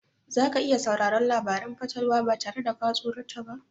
Za ka iya sauraron labaran fatalwa ba tare da ka tsorata ba?